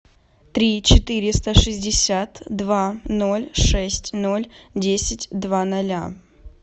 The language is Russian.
три четыреста шестьдесят два ноль шесть ноль десять два ноля